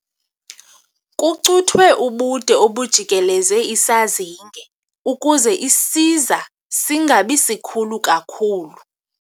Kucuthwe ubude obujikeleze isazinge ukuze isiza singabi sikhulu kakhulu.